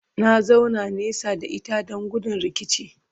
na zauna nesa da ita Dan gudun rikici